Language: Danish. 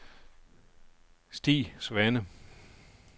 Stig Svane